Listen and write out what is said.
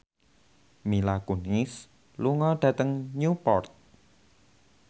Mila Kunis lunga dhateng Newport